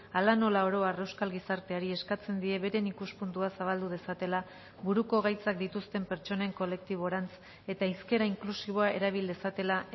hala nola oro har euskal gizarteari eskatzen die beren ikuspuntua zabaldu dezatela buruko gaitzak dituzten pertsonen kolektiborantz eta hizkera inklusiboa erabil dezatela